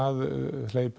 hleypi